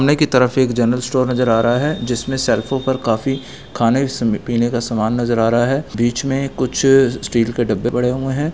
सामने की तरफ एक जनरल स्टोर नज़र आ रहा हैं जिसमे शेलफो पर काफी खाने पीने का सामान नज़र आ रहा हैं बीच मे कुछ स्टील के डब्बे पड़े हुए हैं।